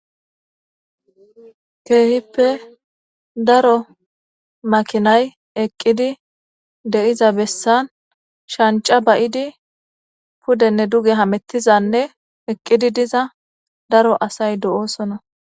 keehippe daro makinay eqqidi de'iza bessan shanca bayidi pudenne duge hamettizanne eqqidi diza daro asay do'oosona